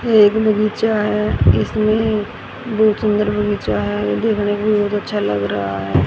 एक मिली चाय इसमें दो बनी चाय देखने पे बहोत अच्छा लग रहा है।